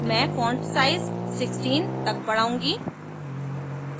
मैं font size 16 तक बढ़ाउंगी